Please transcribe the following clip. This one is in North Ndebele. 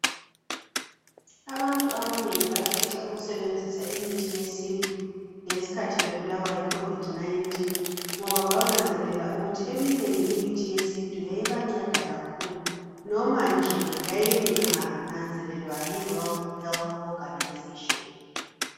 Abantu abanengi bakhetha ukusebenzisa imithi yesintu ngesikhathi bebulawa yi covid 19 ngoba bananzelela ukuthi eminengi imithi yesintu yayibanceda kakhulu nomanje yayingananzelelwa yi World Health Organization